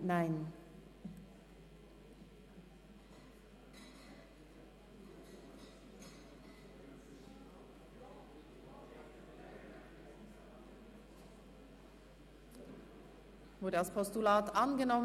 Der Oberaargau wird heute, gleich wie das Berner Oberland, ab Bern durch den Fernverkehr bedient.